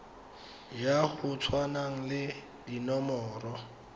ya go tshwana le dinomoro